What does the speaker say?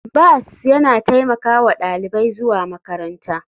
Bus yana taimaka wa ɗalibai zuwa makaranta.